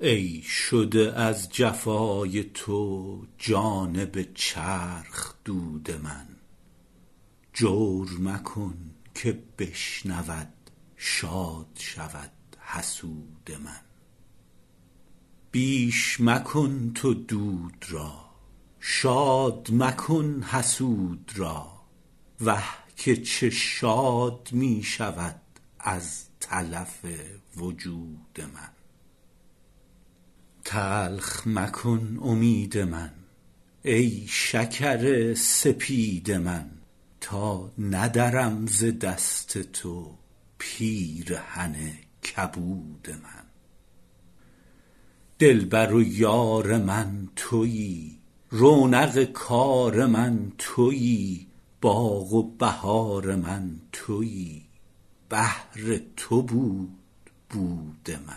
ای شده از جفای تو جانب چرخ دود من جور مکن که بشنود شاد شود حسود من بیش مکن تو دود را شاد مکن حسود را وه که چه شاد می شود از تلف وجود من تلخ مکن امید من ای شکر سپید من تا ندرم ز دست تو پیرهن کبود من دلبر و یار من تویی رونق کار من تویی باغ و بهار من تویی بهر تو بود بود من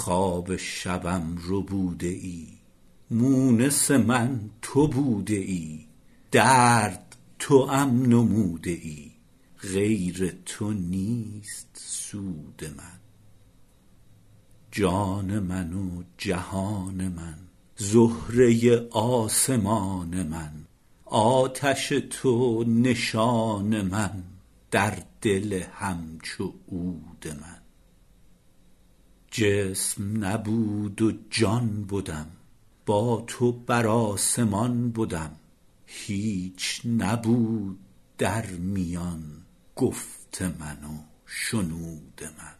خواب شبم ربوده ای مونس من تو بوده ای درد توام نموده ای غیر تو نیست سود من جان من و جهان من زهره آسمان من آتش تو نشان من در دل همچو عود من جسم نبود و جان بدم با تو بر آسمان بدم هیچ نبود در میان گفت من و شنود من